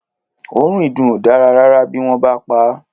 Òórùn ìdùn ò dáa rárá bí wọ́n bá pa á.